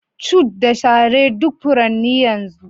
Cute da share duk furanni yanzu